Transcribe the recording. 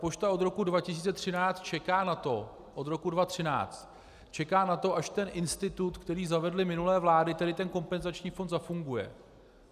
Pošta od roku 2013 čeká na to - od roku 2013 čeká na to, až ten institut, který zavedly minulé vlády, tedy ten kompenzační fond, zafunguje.